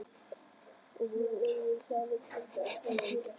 Og voru öðruvísi en aðrir klútar, þeir voru gersemi.